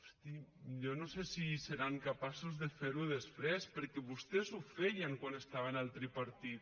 hosti jo no sé si seran capaços de fer ho després perquè vostès ho feien quan estaven al tripartit